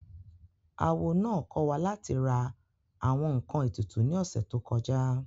Awo náà kọ́ wa láti ra àwọn ǹkan ètùtù ní ọ̀sẹ̀ tó kọjá